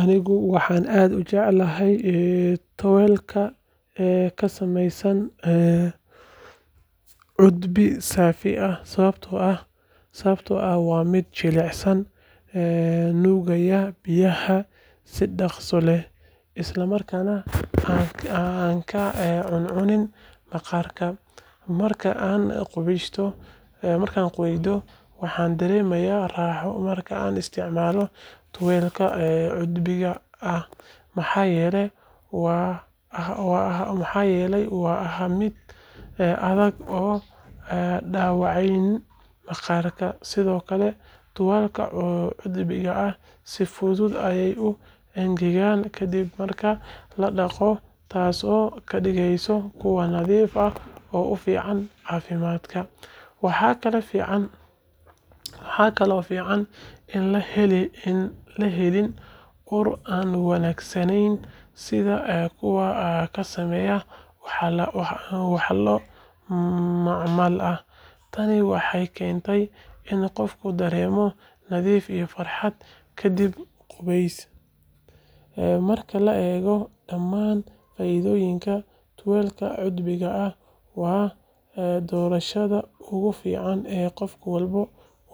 Aniga waxaan aad u jecelahay tuwaalka ka samaysan cudbi saafi ah sababtoo ah waa mid jilicsan, nuugaya biyaha si dhakhso leh, isla markaana aan ka cuncunin maqaarka. Marka aan qubeydo, waxaan dareemaa raaxo marka aan isticmaalayo tuwaalkan cudbiga ah maxaa yeelay ma aha mid adag oo dhaawacaya maqaarka. Sidoo kale, tuwaalada cudbiga ah si fudud ayay u engegaan kadib marka la dhaqdo, taasoo ka dhigaysa kuwo nadiif ah oo u fiican caafimaadka. Waxaa kaloo fiican in aan la helin ur aan wanaagsaneyn sida kuwa ka samaysan walxo macmal ah. Tani waxay keentaa in qofku dareemo nadiif iyo farxad kadib qubeys. Marka la eego dhammaan faa’iidooyinkan, tuwaalka cudbiga ah waa doorashada ugu fiican ee qof walba